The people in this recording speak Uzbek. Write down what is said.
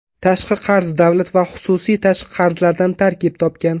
Tashqi qarz davlat va xususiy tashqi qarzlaridan tarkib topgan.